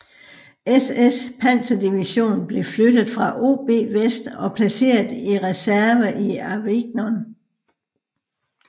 SS panserdivision blev flyttet fra OB West og placeret i reserve i Avignon